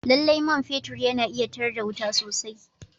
Lallai man fetur yana iya tar da wuta sosai